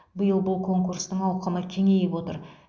биыл бұл конкурстың ауқымы кеңейіп отыр